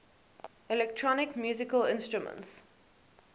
electronic musical instruments